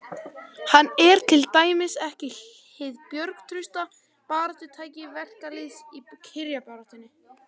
Hann er til dæmis ekki hið bjargtrausta baráttutæki verkalýðsins í kjarabaráttunni.